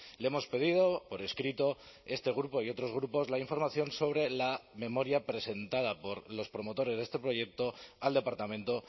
le hemos pedido por escrito este grupo y otros grupos la información sobre la memoria presentada por los promotores de este proyecto al departamento